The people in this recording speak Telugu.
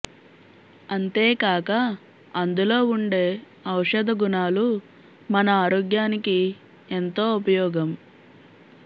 అంతేకాక అందులో ఉండే ఔషధ గుణాలు మన ఆరోగ్యానికి ఎంతో ఉపయోగం